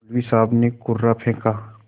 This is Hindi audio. मौलवी साहब ने कुर्रा फेंका